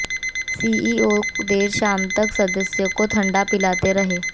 CEO देर शाम तक सदस्यों को ठंडा पिलाते रहे